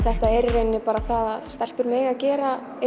rauninni bara það að stelpur mega gera í